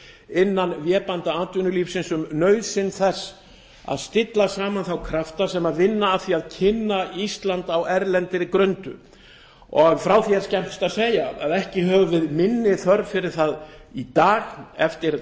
innan vébanda atvinnulífsins um nauðsyn þess að stilla saman þá krafta sem vinna að því að kynna ísland á erlendri grundu frá því er skemmst að segja að ekki höfum við minni þörf fyrir það í dag eftir